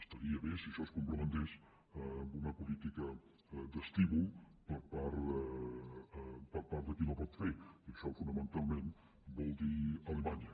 estaria bé si això es complementés amb una política d’estímul per part de qui la pot fer i això fonamentalment vol dir alemanya